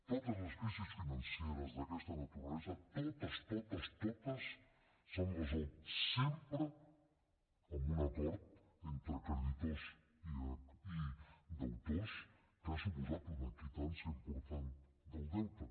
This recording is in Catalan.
totes les crisis financeres d’aquesta naturalesa totes totes totes s’han resolt sempre amb un acord entre creditors i deutors que ha suposat una quitança important del deute